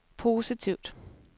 positivt